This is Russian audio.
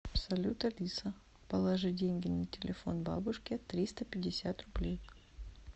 салют алиса положи деньги на телефон бабушке триста пятьдесят рублей